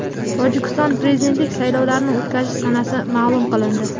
Tojikistonda prezidentlik saylovlarini o‘tkazish sanasi ma’lum qilindi.